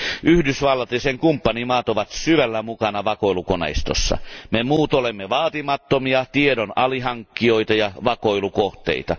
Yhdysvallat ja sen kumppanimaat ovat syvällä mukana vakoilukoneistossa. Me muut olemme vaatimattomia tiedon alihankkijoita ja vakoilukohteita.